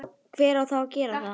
hver á þá að gera það?